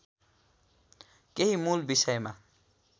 केही मूल विषयमा